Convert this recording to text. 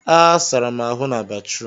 ee, sara m ahụ na batrum